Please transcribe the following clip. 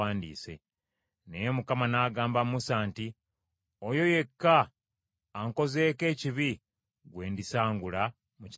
Naye Mukama n’agamba Musa nti, “Oyo yekka ankozeeko ekibi gwe ndisangula mu kitabo kyange.